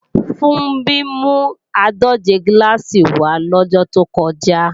Funbí mú àádòje gíláàsì wá lọ́jọ́ tó kọjá